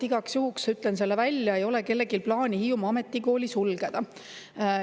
Igaks juhuks ütlen selle välja: ei ole kellelgi plaani Hiiumaa Ametikooli sulgeda.